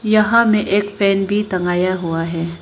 यहां में एक फैन भी टंगाया हुआ है।